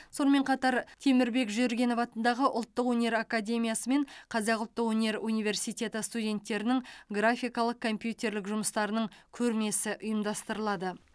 сонымен қатар темірбек жүргенов атындағы ұлттық өнер академиясы мен қазақ ұлттық өнер университеті студенттерінің графикалық компьютерлік жұмыстарының көрмесі ұйымдастырылады